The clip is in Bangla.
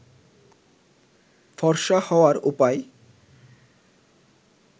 ফর্সা হওয়ার উপায়